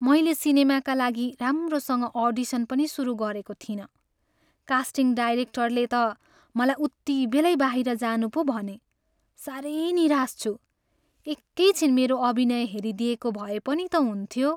मैले सिनेमाका लागि राम्रोसँग अडिसन पनि सुरु गरेको थिइनँ, कास्टिङ डाइरेक्टरले त मलाई उतिबेलै बाहिर जानु पो भने। साह्रै निराश छु। एकै छिन मेरो अभिनय हेरिदिएको भए पनि त हुन्थ्यो!